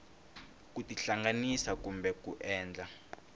ku tihlanganisa kumbe ku endla